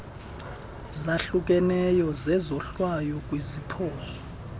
zahlukeneyo zezohlwayo kwiziphoso